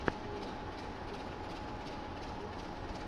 уорлд оф танкс ютьюб